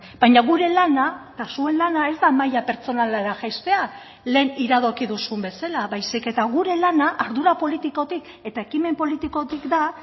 baina gure lana eta zuen lana ez da maila pertsonalera jaistea lehen iradoki duzun bezala baizik eta gure lana ardura politikotik eta ekimen politikotik da